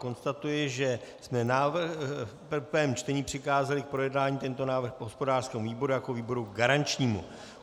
Konstatuji, že jsme v prvém čtení přikázali k projednání tento návrh hospodářskému výboru jako výboru garančnímu.